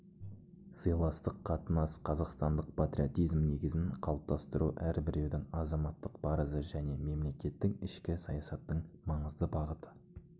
сыйластық қатынас қазақстандық патриотизм негізін қалыптастыру әрбіреудің азаматтық парызы және мемлекеттік ішкі саясаттың маңызды бағыты